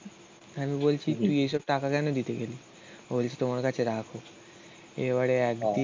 আমি বলছি তুই এইসব টাকা কেন দিতে গেলি? ও বলছে তোমার কাছে রাখো এবারে একদিন